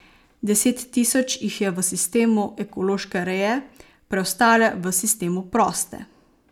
Deset tisoč jih je v sistemu ekološke reje, preostale v sistemu proste.